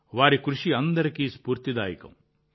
వారి కృషి అందరికీ స్ఫూర్తినిస్తుంది